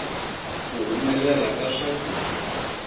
ku humelela ka swakudya